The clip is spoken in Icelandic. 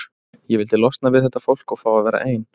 Ég vildi losna við þetta fólk og fá að vera ein.